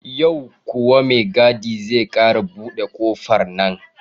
Yau kuwa mai gadi zai ƙara buɗe ƙofar nan?